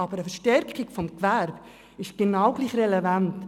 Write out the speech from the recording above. aber eine Stärkung des Gewerbes ist genau gleich relevant.